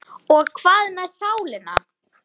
Og hvað með sálina?